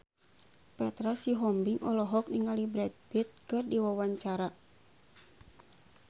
Petra Sihombing olohok ningali Brad Pitt keur diwawancara